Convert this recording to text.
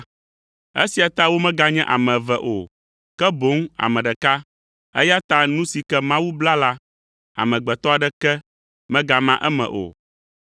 Esia ta womeganye ame eve o, ke boŋ ame ɖeka, eya ta nu si ke Mawu bla la, amegbetɔ aɖeke megama eme o.”